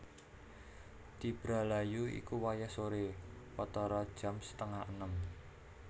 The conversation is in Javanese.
Tibra layu iku wayah soré watara jam setengah enem